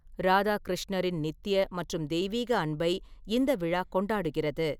ராதா கிருஷ்ணரின் நித்திய மற்றும் தெய்வீக அன்பை இந்த விழா கொண்டாடுகிறது.